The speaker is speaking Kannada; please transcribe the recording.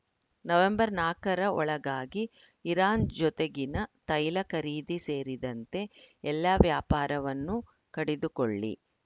ನವೆಂಬರ್‌ ನಾಲ್ಕರ ಒಳಗಾಗಿ ಇರಾನ್‌ ಜೊತೆಗಿನ ತೈಲ ಖರೀದಿ ಸೇರಿದಂತೆ ಎಲ್ಲ ವ್ಯಾಪಾರವನ್ನು ಕಡಿದುಕೊಳ್ಳಿ